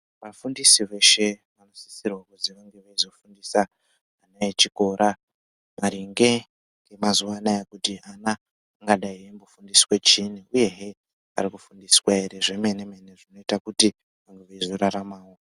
Vafundisi veshe vanosisirwa kuzi vange veizofundisa ana echikora maringe ngemazuva anaa. Kuti ana angadai eingofundiswe chiini uyehe ari kufundiswa ere zvemene mene zvinoita kuti mhuri izoraramawo.